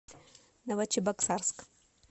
новочебоксарск